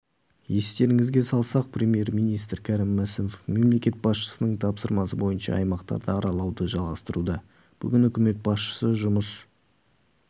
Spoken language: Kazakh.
естеріңізге салсақ премьер-министрі кәрім мәсімов мемлекет басшысының тапсырмасы бойынша аймақтарды аралауды жалғастыруда бүгін үкімет басшысы жұмыс